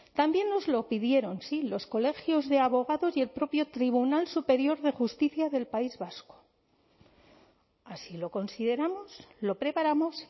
también nos lo pidieron sí los colegios de abogados y el propio tribunal superior de justicia del país vasco así lo consideramos lo preparamos